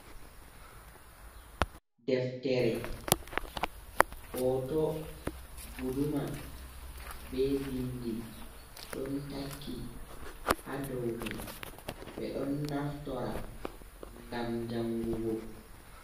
deftere, hoto guduma, be bindi don takki ha doumai.be don naftora gam jangugo.